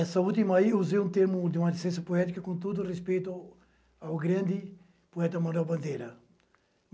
Essa última aí eu usei um termo de uma ciência poética com todo o respeito ao grande poeta Manuel Bandeira.